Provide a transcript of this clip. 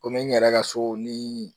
Komi n yɛrɛ ka so ni